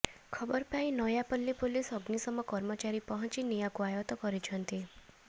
ଖବର ପାଇ ନୟାପଲ୍ଲୀ ପୋଲିସ ଅଗ୍ନିଶମ କର୍ମଚାରୀ ପହଞ୍ଚି ନିଆଁକୁ ଆୟତ କରିଛନ୍ତି